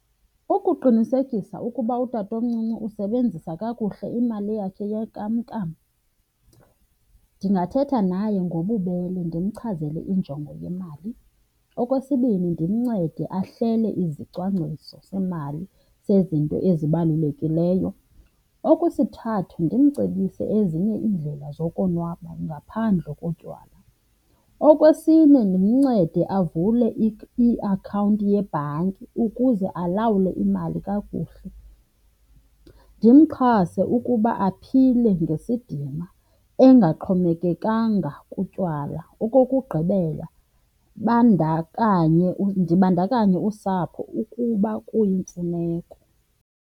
Ukuqinisekisa ukuba utatomncinci usebenzisa kakuhle imali yakhe yenkamnkam ndingathetha naye ngobubele ndimchazele injongo yemali. Okwesibini, ndimncede ahlele izicwangciso semali sezinto ezibalulekileyo. Okwesithathu, ndimcebise ezinye iindlela zokonwaba ngaphandle kotywala. Okwesine, ndimncede avule iakhawunti yebhanki ukuze alawule imali kakuhle. Ndimxhase ukuba aphile ngesidima engaxhomekekanga kutywala. Okokugqibela, ndibandakanye usapho ukuba kuyimfuneko.